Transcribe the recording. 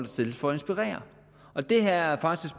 stilles for at inspirere og det her er faktisk